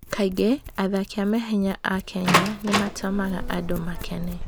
Kaingĩ athaki a mahenya a Kenya nĩ matũmaga andũ makene.